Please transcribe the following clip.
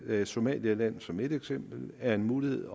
af somaliland som et eksempel er en mulighed